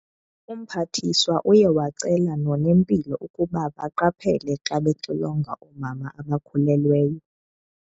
Umphathiswa uye wacela nonempilo ukuba baqaphele xa bexilonga oomama abakhulelweyo.